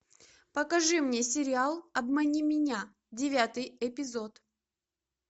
покажи мне сериал обмани меня девятый эпизод